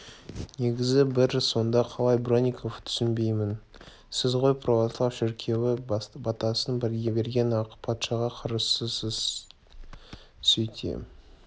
негізі бір сонда қалай бронников түсінбеймін сіз ғой православ шіркеуі батасын берген ақ патшаға қарсысыз сөйте